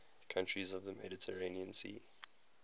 countries of the mediterranean sea